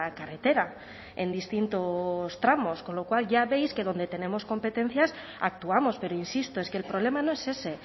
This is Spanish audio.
carretera en distintos tramos con lo cual ya veis que donde tenemos competencias actuamos pero insisto es que el problema no es ese